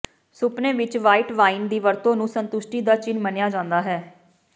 ਸੁਪਨੇ ਵਿਚ white wine ਦੀ ਵਰਤੋਂ ਨੂੰ ਸੰਤੁਸ਼ਟੀ ਦਾ ਚਿੰਨ੍ਹ ਮੰਨਿਆ ਜਾਂਦਾ ਹੈ